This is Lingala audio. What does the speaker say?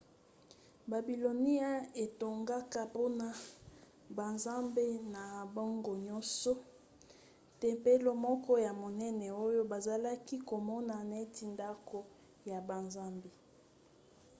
babilonia etongaka mpona banzambe na bango nyonso tempelo moko ya monene oyo bazalaki komona neti ndako ya banzambe